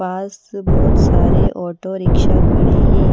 पास बहुत सारे auto rickshaw खड़े हैं।